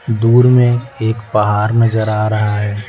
दूर में एक पहार नजर आ रहा है।